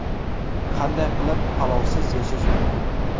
Qanday qilib palovsiz yashash mumkin?